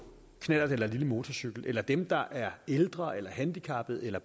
knallert eller lille motorcykel eller dem der er ældre eller handicappede eller